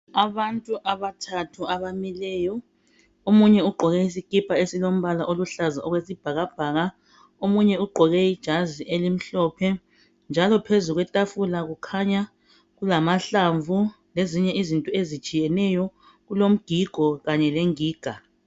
Abantu abathathu abamileyo . Omunye ugqoke isikipa esilombala oluhlaza okwesibhakabhaka. Omunye ugqoke ijazi elimhlophe njalo phezu kwetafula Kukhanya kulamahlamvu lezinye izinto ezitshiyeneyo .Kulomgigo kanye lengiga.